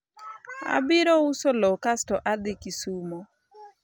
abiro uso lowo kasto adhi kisumo